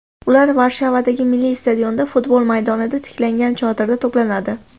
Ular Varshavadagi Milliy stadionda, futbol maydonida tiklangan chodirda to‘planadi.